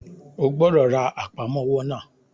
O gbọ́dọ̀ ra Àpámọ́wọ́ náà!